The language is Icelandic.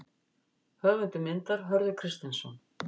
Höfundur myndar: Hörður Kristinsson.